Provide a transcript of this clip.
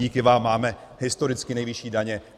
Díky vám máme historicky nejvyšší daně.